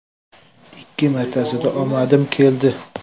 Ikki martasida omadim keldi”.